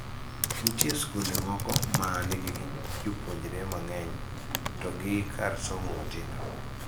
Nitie skunde moko ma nigi jopuonjre mang'eny to gi kar somo matindo.